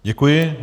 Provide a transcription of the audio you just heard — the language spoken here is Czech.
Děkuji.